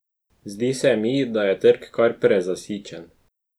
Zdi se mi, da je trg kar prezasičen.